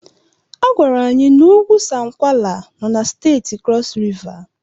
Agwara anyị na ugwu Sankwala no na Steeti Krọs Riva.